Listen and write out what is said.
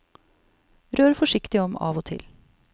Rør forsiktig om av og til.